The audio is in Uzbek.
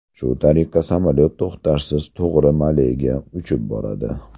Shu tariqa, samolyot to‘xtashsiz to‘g‘ri Malega uchib boradi.